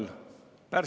Lugupeetud juhataja!